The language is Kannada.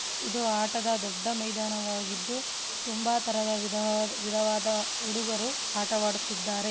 ಇದು ಆಟದ ದೊಡ್ಡ ಮೈದಾನ ವಾಗಿದ್ದು ತುಂಬಾ ತರದ ವಿಧವಾ ವಿಧವಾದ ಹುಡುಗರು ಆಟವಾಡುತ್ತಿದ್ದರೆ.